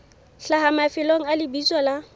hlaha mafelong a lebitso la